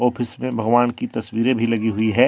Office में भगवान की तस्वीरें भी लगी हुई है।